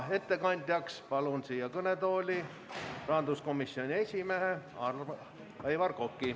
Ettekandjaks palun siia kõnetooli rahanduskomisjoni esimehe Aivar Koka.